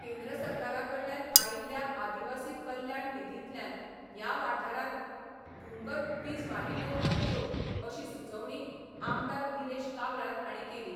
केंद्र सरकाराकडल्यान आयिल्ल्या आदिवासी कल्याण निधीतल्यांन या वाठारांत भुंगत वीज वाहिन्यो घालच्यो अशी सुचवणी आमदार निलेश काब्राल हांणी केली.